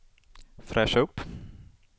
fräscha upp